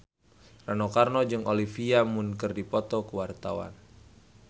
Rano Karno jeung Olivia Munn keur dipoto ku wartawan